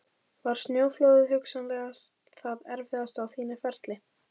Var snjóflóðið hugsanlega það erfiðasta á þínu ferli?